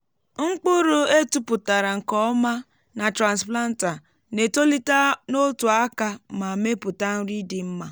mkpụrụ e tụpụtara nke ọma na transplanter na-etolite n’otu aka ma mepụta nri dị mma.